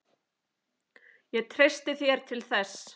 Ég treysti þér til þess.